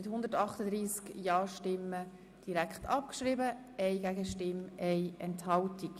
Sie haben die Abschreibung von Ziffer 3 beschlossen.